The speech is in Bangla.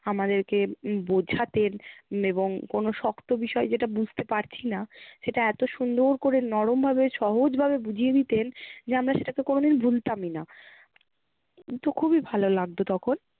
আমাদেরকে বোঝাতেন এবং কোনো শক্ত বিষয় যেটা বুঝতে পারছি না সেটা এত সুন্দর করে নরম ভাবে, সহজ ভাবে বুঝিয়ে দিতেন যে আমরা সেটাকে কোনোদিন ভুলতাম না, কিন্তু খুবই ভালো লাগতো তখন